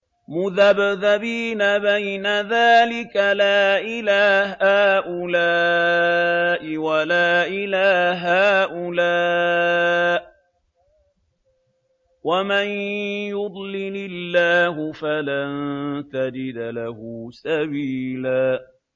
مُّذَبْذَبِينَ بَيْنَ ذَٰلِكَ لَا إِلَىٰ هَٰؤُلَاءِ وَلَا إِلَىٰ هَٰؤُلَاءِ ۚ وَمَن يُضْلِلِ اللَّهُ فَلَن تَجِدَ لَهُ سَبِيلًا